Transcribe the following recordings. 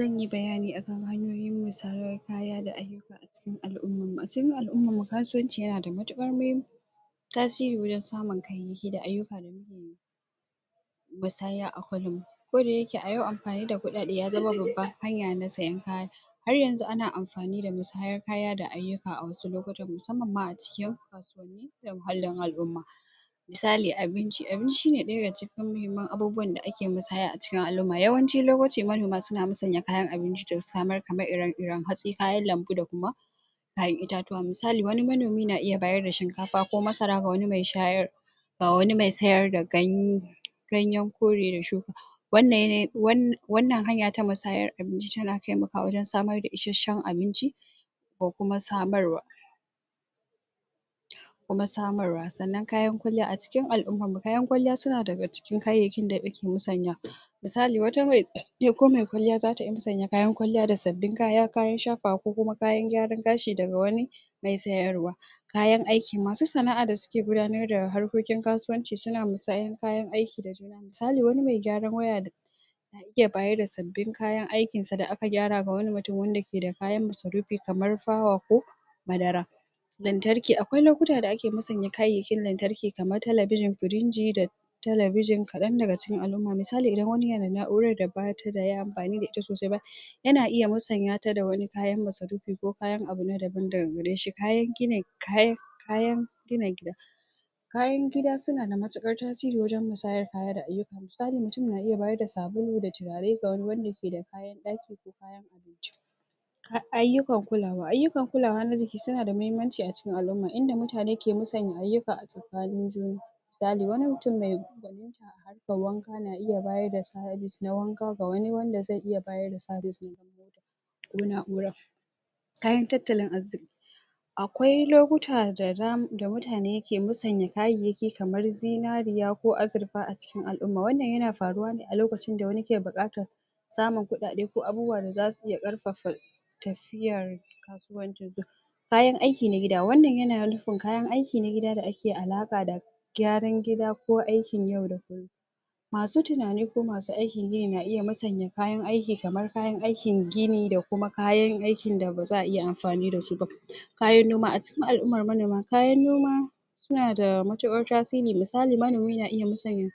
Zan yi bayani akan hanyoyin musayar kaya da ake yi a cikin al'ummarmu kasuwamci yana da matuƙar muhimmanci tasiri wajen samun kayayyaki da ayyuka musanya a colum koda yake a yau amfani da kuɗaɗe ya zama babbar hanya na sayen har yanzu ana amfani da misayan kaya da ayyuka a wasu lokutan musamman ma a cikin muhallin al'umma misali abinci, abinci yana ɗaya da cikin muhimman abubuwan da ake misaya a cikin al'umma yawancin lokaci manoma suna musanya kayan abinci da suka samar kamar ire-iren hatsi kayan lambu da kuma kayan itatuwa misali wani manomi na iya bayar da shinkafa ko masara ga wani mai shayar ga wani mai sayar da ganye ganyan kore da shuɗi wannan hanya ta musaya abinci tana taimakawa wajen samar da ishasshen abinci ko kuma samarwa kamar samauwa sanan kayan kwalliya,a cikin al'ummarmu kayan kwalliya su daga cikin kayayyakin da ake musaya wa misali wata mai ko mai kwalliya zata iya musanya kayan kwalliya da sabbin kaya, kayan shafawa ko kuma kayan gyaran gashi daga wani mai sayarwa kayan aiki masu sana'a da suke gudanar da harkokin kasuwanci suna musayar kayan aiki da misali wani mai gyaran waya zai bayar da sabbin kayan aikin sa da aka gyara ga wani mutum wanda keda kayan masarufi kamar fawa ko madara lantarki akwai lokutan da ake musanya kayan lantarki kamar television furinji da television kaɗan daga cikin al'umma misali kamar wani yana da na'urar da ba a yi amfani da ita sosai ba yana iya musanya ta da wani kayan masarufi ko kayan abu na daban daga gare shi kayan gina kayan kayan gina gida kayan gida suna da matuƙar tasiri wajen musayen kaya da ayyuka misali mutum na iya bayar da sabulu da turare kamar wanda keda kayan ɗaki ayyukan kulawa, ayyukan kulawa na jiki suna da muhimmanci a cikin al'umma inda mutane ke musanya ayyuka a tsakanin junansu iiyali wani mutum mai wanka na iya bayar da servive na wanka ga wani wanda zai iya bayar da servive na wanka ko na'ura kayan tattalin arziki akwai lokuta da dama da mutane ke musanya kayayyaki kamar zinariya ko azurfa a cikin al'umma wannan yana faruwa ne a lokacin da wani yake buƙatar samun kuɗaɗe ko abubuwa da za su ƙarfafa tafiyar kayan aiki na gida wannan yana nufin kayan aiki na gida da ake alaƙa gyaran gida ko aikin yau da kullum masu tunani ko masu aikin gini na iya musaya kayan aiki kamar kayan aikin gini da kuma kayan aikin da ba za a iya amfani da su ba kayan noma a cikin al'ummar manoma kayan noma suna da matuƙar tasiri, misali manomi na iya musanya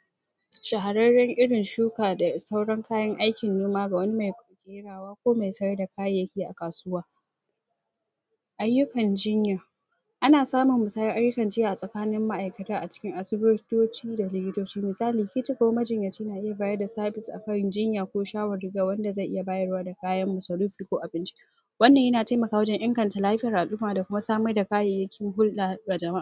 shahararren irin shuka da sauran kayan aikin noma ga wani mai ko sayar da kayayyaki a kasuwa ayyukan jiya ana samun musayan ayyukan jinya a tsakanin ma'aikataa a cikin asibitoci da likitoci misali; ki ce kamar majinyaci na iya bayar da service akan jinya ko shawari ga wanda zai iya bayarwa ga kayan masarufi ko abinci wannan yana taimakawa wajen inganta lafiyar al'umma da kuma samar da kayayyakin hulɗa ga jama'a